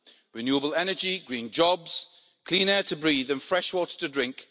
Renewable energy, green jobs, clean air to breathe and fresh water to drink.